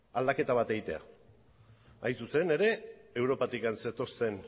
aldaketa bat egitean hain zuzen ere europatik zetorren